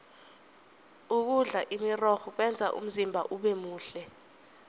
ukudla imirorho kwenza umzimba ubemuhle